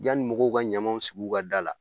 Yani mɔgɔw ka ɲamanw sig'u ka da la